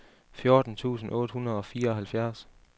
fjorten tusind otte hundrede og fireoghalvfjerds